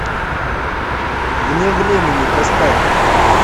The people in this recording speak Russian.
вне времени поставь